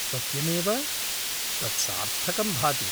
सत्यमेव! तत् सार्थकं भाति।